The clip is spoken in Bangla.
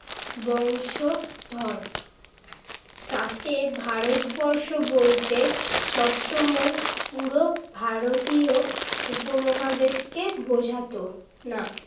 বংশধর। তাতে ভারতবর্ষ বলতে সবসময় কিন্তু ভারতীয় উপমহাদেশকে বুঝাত না।